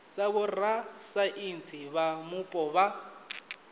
sa vhorasaintsi vha mupo vha